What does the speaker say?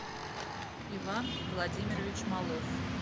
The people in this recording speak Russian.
иван владимирович малов